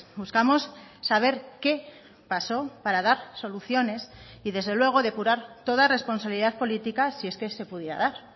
buscamos saber qué pasó para dar soluciones y desde luego depurar toda responsabilidad política si es que se pudiera dar